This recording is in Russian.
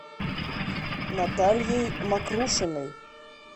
натальей мокрушиной